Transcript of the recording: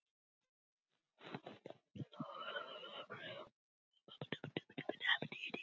Voru kona hans og börn, Magnús og